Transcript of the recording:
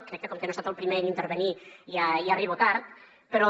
crec que com que no he estat el primer d’intervenir ja arribo tard però